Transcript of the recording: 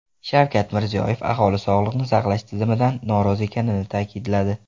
Shavkat Mirziyoyev aholi sog‘liqni saqlash tizimidan norozi ekanini ta’kidladi.